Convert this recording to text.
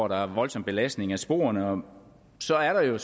der er en voldsom belastning af sporene og så er der jo